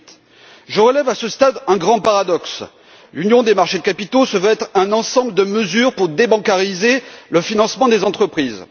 2008. Je relève, à ce stade, un grand paradoxe l'union des marchés de capitaux se veut être un ensemble de mesures pour débancariser le financement des entreprises.